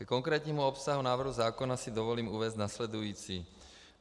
Ke konkrétnímu obsahu návrhu zákona si dovolím uvést následující.